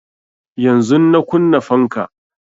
Yanzun nan na kunna fanka